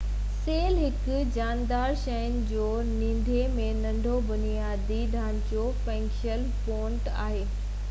cell هڪ جاندار شين جو ننڍي ۾ ننڍو بنيادي ڍانچو ۽ فنڪشنل يونٽ آهي